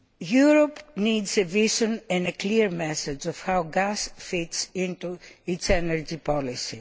Europe needs a vision and a clear message of how gas fits into its energy policy.